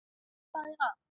. hvað er að.